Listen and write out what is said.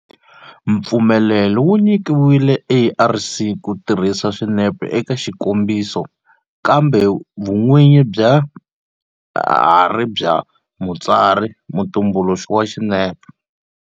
Mpfumelelo wu nyikiwile ARC ku tirhisa swinepe eka xikombiso kambe vun'winyi bya ha ri bya mutsari-mutumbuluxi wa swinepe.